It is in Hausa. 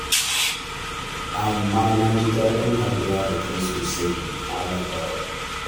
Amma na ji daɗin haɗuwa da kai sosai, Malam Barau